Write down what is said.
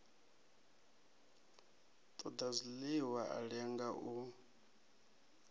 ṱoḓa zwiḽiwa a lenga u